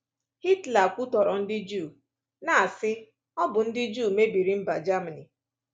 Hitler kwutọrọ ndị Juu, na-asị, ‘Ọ bụ ndị Juu mebiri mba Germany.’